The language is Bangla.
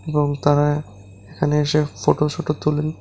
এবং তারা এখানে এসে ফোটো সোটো তোলেন।